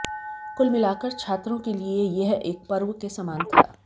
कुल मिलाकर छात्रों के लिए यह एक पर्व के समान था